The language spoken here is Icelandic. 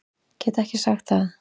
Get ekki sagt það.